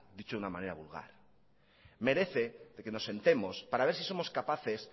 dicho de una manera vulgar merece que nos sentemos para ver si somos capaces